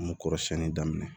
An m'u kɔrɔsiɲɛni daminɛ